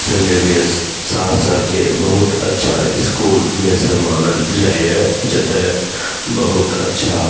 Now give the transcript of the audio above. Saint Xavier Saharsa के बहुत अच्छा स्कूल में से मानल जाये जते बहुत अच्छा --